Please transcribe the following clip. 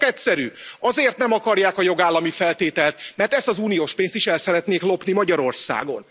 Az ok egyszerű, azért nem akarják a jogállamsági feltételt, mert ezt az uniós pénzt is el szeretnék lopni Magyarországon.